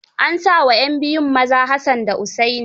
An sa wa 'yan biyun maza Hassan da Hussaini.